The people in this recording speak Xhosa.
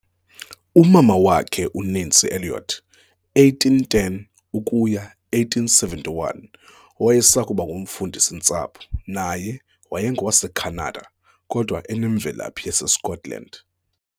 Umama wakhe, uNancy Elliot, 1810-1871, owayesakuba ngumfundisi-ntsapho, naye wayengowaseKhanada kodwa enemvelaphi yaseScotland.